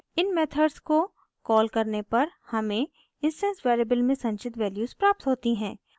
इन methods को call करने पर हमें इंस्टैंस वेरिएबल्स में संचित वैल्यूज़ प्राप्त होती हैं